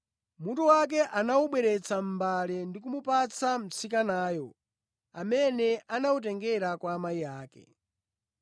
Mutu wake anawubweretsa mʼmbale ndi kumupatsa mtsikanayo amene anawutengera kwa amayi ake.